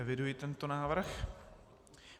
Eviduji tento návrh.